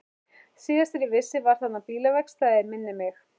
Síðast þegar ég vissi var þarna bílaverkstæði, minnir mig.